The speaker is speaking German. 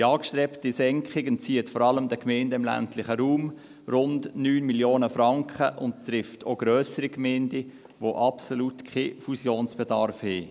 Die angestrebte Senkung entzieht vor allem den Gemeinden im ländlichen Raum rund 9 Mio. Franken und trifft auch grössere Gemeinden, die absolut keinen Fusionsbedarf haben.